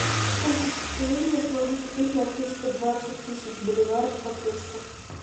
сколько шекелей я смогу купить на триста двадцать тысяч боливаров по курсу